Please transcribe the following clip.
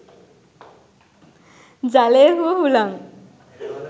ජලය හෝ හුලං